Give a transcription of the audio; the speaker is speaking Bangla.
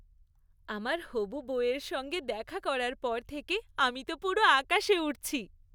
আমার হবু বউয়ের সঙ্গে দেখা করার পর থেকে আমি তো পুরো আকাশে উড়ছি।